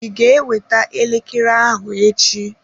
Ị ga-eweta elekere ahụ echi?